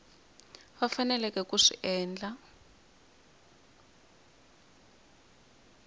va faneleke ku swi endla